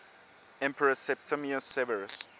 emperor septimius severus